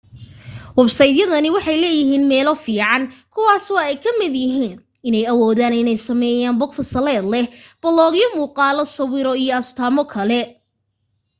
websaydyadani waxay leeyihiin meelo fiican kuwaasoo ay ka mid yihiin inay awoodaan inay sameeyaan bog fasaleed leh baloogyo muuqaalo sawiro iyo astaamo kale